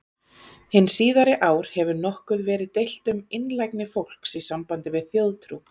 Hin síðari ár hefur nokkuð verið deilt um einlægni fólks í sambandi við þjóðtrú.